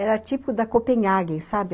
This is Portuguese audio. Era tipo da Copenhagen, sabe?